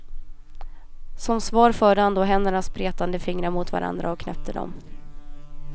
Som svar förde han då händernas spretande fingrar mot varandra och knäppte dem.